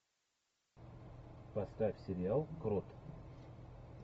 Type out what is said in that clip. поставь сериал крот